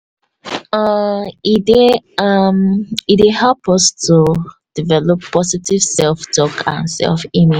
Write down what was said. um] e dey um e dey help us to develop positive self tak ourself